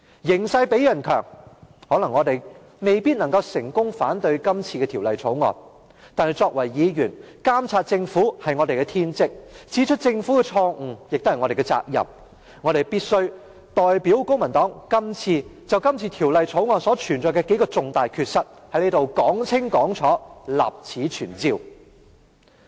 形勢比人強，我們未必能夠成功阻止《條例草案》通過，但作為議員，監察政府是我們的天職，指出政府的錯誤，亦是我們的責任，我必須代表公民黨就《條例草案》的數個重大缺失，在這裏說清楚，立此存照。